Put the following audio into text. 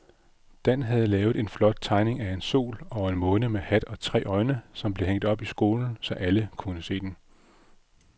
Dan havde lavet en flot tegning af en sol og en måne med hat og tre øjne, som blev hængt op i skolen, så alle kunne se den.